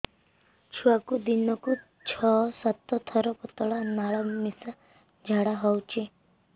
ଛୁଆକୁ ଦିନକୁ ଛଅ ସାତ ଥର ପତଳା ନାଳ ମିଶା ଝାଡ଼ା ହଉଚି